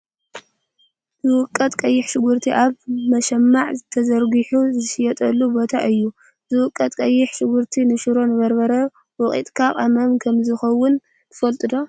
ዝውቀት ቀይሕ ሽጉርቲ ኣብ መሸማዕ ተዘርግሑ ዝሽየጠሉ ቦታ እዩ ። ዝውቀት ቀይሕ ሽጉርቲ ንሽሮን በርበረን ወቅጥካ ቅመም ከምዝከውን ትፈልጡ ዶ?